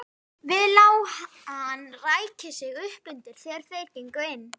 Við lá hann ræki sig uppundir þegar þeir gengu inn.